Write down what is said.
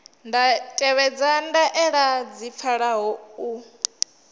tevhedza ndaela dzi pfalaho u